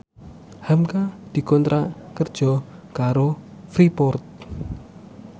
hamka dikontrak kerja karo Freeport